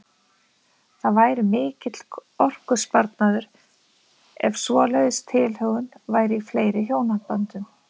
Það væri mikill orkusparnaður ef svoleiðis tilhögun væri í fleiri hjónaböndum.